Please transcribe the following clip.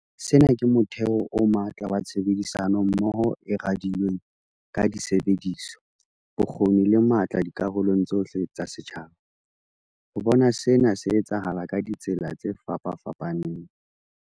Sena ke motheo o matla wa tshebedisano mmoho e radilweng ka disebediswa, bokgoni le matla dikarolong tsohle tsa setjhaba. Re bona sena se etsahala ka ditsela tse fapafapaneng.